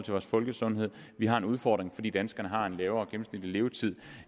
vores folkesundhed vi har en udfordring fordi danskerne har en lavere gennemsnitlig levetid